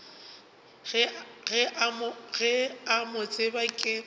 ke a mo tseba ke